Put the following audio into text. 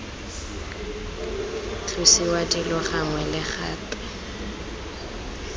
tlosiwa dilo gangwe le gape